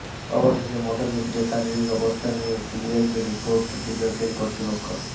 অবশেষে মদন মিত্রের শারীরিক অবস্থা নিয়ে সিবিআইকে রিপোর্ট দিল জেল কর্তৃপক্ষ